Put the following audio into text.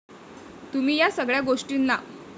तुम्ही या सगळ्या गोष्टीना